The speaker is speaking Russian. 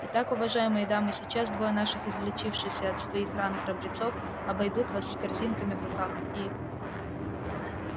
итак уважаемые дамы сейчас двое наших излечившихся от своих ран храбрецов обойдут вас с корзинками в руках и